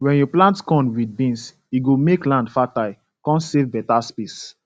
wen you plant corn with beans e go make land fertile con save beta space